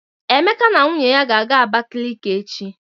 Emeka na nwunye ya ga-aga Abakaliki echi.